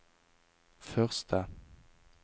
første